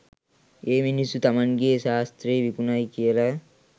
ඒ මිනිස්සු තමන්ගෙ සාස්ත්‍රෙ විකුණයි කියල